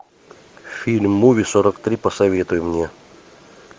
фильм муви сорок три посоветуй мне